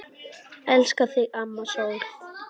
Elska þig, amma sól.